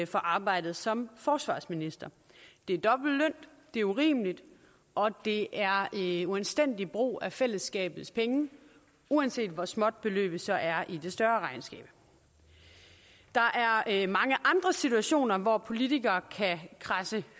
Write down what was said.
fra arbejdet som forsvarsminister det er dobbelt løn det er urimeligt og det er en uanstændig brug af fællesskabets penge uanset hvor småt beløbet så er i det større regnskab der er mange andre situationer hvor politikere kan kradse